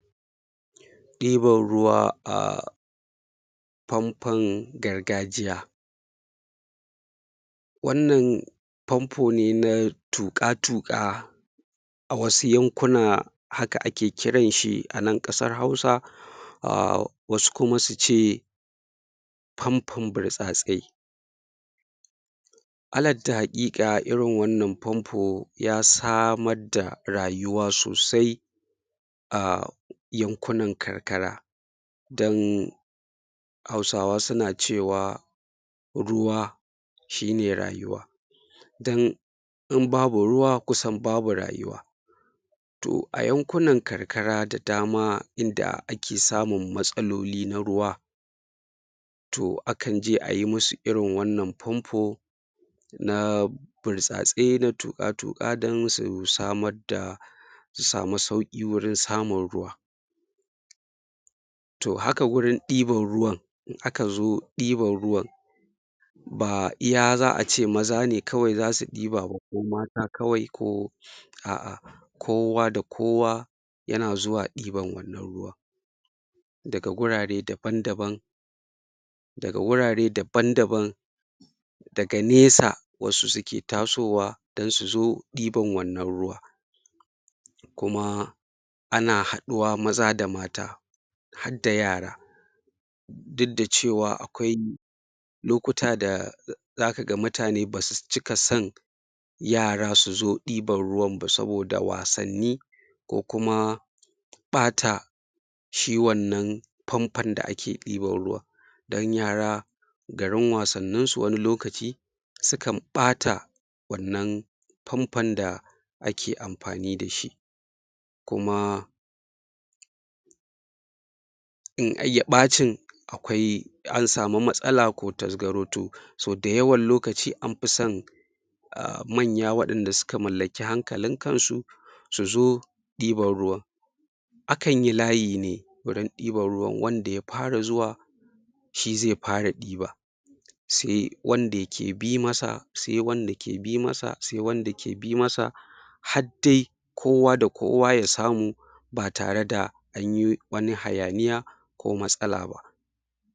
Ɗibar ruwa a famfan gargajiya wannan famfo ne na taƙu-tuƙa a wasu yankuna haka ake kiran shi a nan ƙasar Hausa a wasu kuma su ce famfon burtsatse alat ta haƙiƙa irin wannan famfo ya samad da rayuwa sosai a yankunan karkara dan Hausawa suna cewa ruwa shi ne rayuwa dan in babu ruwa kusan babu rayuwa to a yankunan karkara da dama inda ake samun matsaloli na ruwa to akan je a yi musu irin wannan famfo na burtsatse na tuƙa-tuƙa don su samar da su samu sauƙi wurin samun ruwa to haka wurin ɗibar ruwan in aka zo ɗiban ruwan ba iya za a ce maza ne kawai za su ɗiba ba ko mata kawai ko a'a kowa da kowa yana zuwa ɗiban wannan ruwa daga gurare daban-daban daga wurare daban-daban daga nesa wasu sukee tasowa dan su zo ɗiban wannan ruwa kuma ana haduwa maza da mata had da yara duk da cewa akwai lokuta da za ka mutane ba su cika san yara su zo ɗiban ruwan ba saboda wasanni ko kuma ɓata shi wannan famfon da ake ɗiban ruwan dan yara garin wasanninsu wani lokaci su kan ɓata wannan famfon da ake mafani da shi kuma in ya ɓacin akwai an samu matsala ko tasgaro to so dayawan lokaci an fi san a manya waɗanda suka mallaki hankalin kansu su zo ɗiban ruwan akan yi layi ne wurin ɗiban ruwan wanda ya fara zuwa shi ze fara diba se wanda yake bi masa se wanda ke bi masa se wanda ke bi masa hadde kowa da kowa ya samu ba tare da an yi wani hayaniya